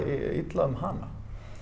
illa um hana